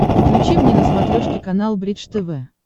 включи мне на смотрешке канал бридж тв